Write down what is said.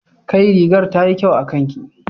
Kai! rigar tayi kyau akanki